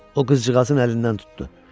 O qızcığazın əlindən tutdu.